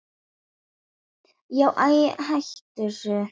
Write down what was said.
Ég var ekki með háar einkunnir en náði samt.